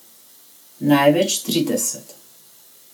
Največ trideset.